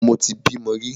Mo ti bímo rí.